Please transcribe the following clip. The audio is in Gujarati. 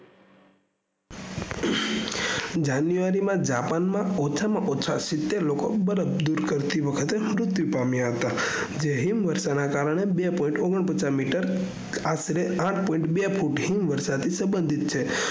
january માં japan માં ઓછામાં ઓછા સીતેર લોકો બરફ દુર કરતી વખતે મુત્યુ પામીયા હતા જે હિમ વર્ષના કારને બે પોઈન્ટ ઓગણપાચસ મીટર આશરે આઠ પોઈન્ટ બે ફૂટ હિમ વર્ષા થી સંભાન્ઘીત છે